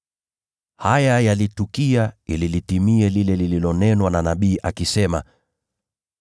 Haya yalitukia ili litimie lile lililonenwa na nabii, akisema: